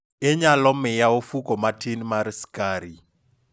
inyalo miya ofuko matin mar skar